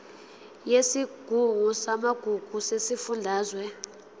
yesigungu samagugu sesifundazwe